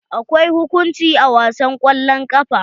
Akwai hukunci a wasan kwallon ƙafa.